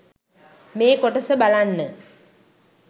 මේ කොටස බලන්න